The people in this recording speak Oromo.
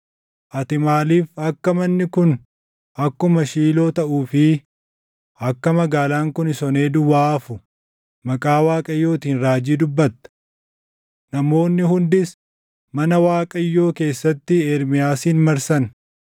Ati maaliif akka manni kun akkuma Shiiloo taʼuu fi akka magaalaan kunis onee duwwaa hafu maqaa Waaqayyootiin raajii dubbatta?” Namoonni hundis mana Waaqayyoo keessatti Ermiyaasin marsan.